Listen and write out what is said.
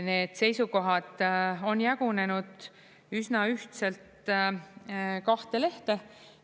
Need seisukohad on jagunenud üsna ühtselt kahte lehte.